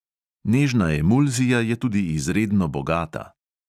Nežna emulzija je tudi izredno bogata.